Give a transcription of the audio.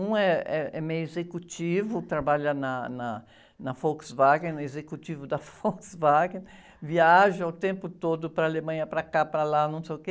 Um eh, eh, é meio executivo, trabalha na, na, na Volkswagen, no executivo da Volkswagen, viaja o tempo todo para a Alemanha, para cá, para lá, não sei o quê.